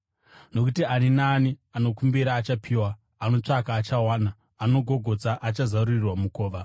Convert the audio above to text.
Nokuti ani naani anokumbira achapiwa; anotsvaka achawana; anogogodza, achazarurirwa mukova.